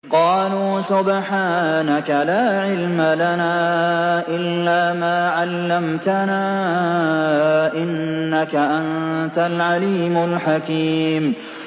قَالُوا سُبْحَانَكَ لَا عِلْمَ لَنَا إِلَّا مَا عَلَّمْتَنَا ۖ إِنَّكَ أَنتَ الْعَلِيمُ الْحَكِيمُ